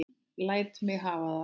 Læt mig hafa það!